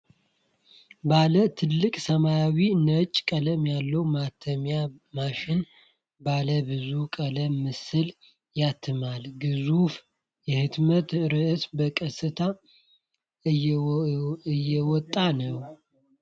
ባለ ትልቅ ሰማያዊና ነጭ ቀለም ያለው ማተሚያ ማሽን ባለ ብዙ ቀለም ምስል ያትማል። ግዙፉ የህትመት ሮልስ በቀሰታ እየወጣ ነው ።